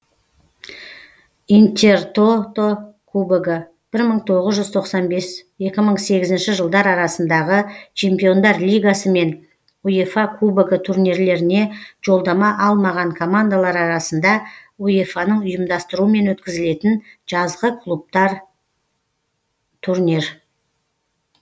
интертото кубогы бір мың тоғыз жүз тоқсан бес екі мың сегізінші жылдар арасындағы чемпиондар лигасы мен уефа кубогы турнирлеріне жолдама алмаған командалар арасында уефаның ұйымдастыруымен өткізілетін жазғы клубтар турнир